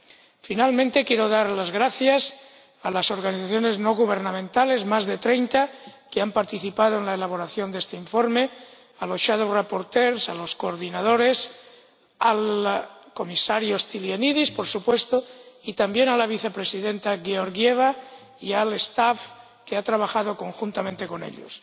Por último, quiero dar las gracias a las organizaciones no gubernamentales ―más de treinta― que han participado en la elaboración de este informe, a los ponentes alternativos, a los coordinadores, al comisario Stylianides ―por supuesto― y también a la vicepresidenta Georgieva, y al personal que ha trabajado conjuntamente con ellos.